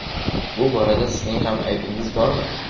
Bu borada sizning ham aybingiz bormi?